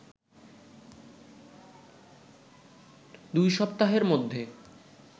দুইসপ্তাহের মধ্যে